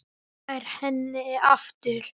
Nær henni aftur.